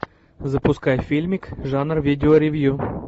запускай фильмик жанр видеоревью